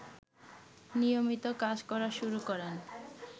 নিয়মিত কাজ করা শুরু করেন